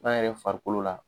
N'an yɛrɛ farikolo la